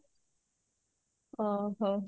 ଓଃ ହୋ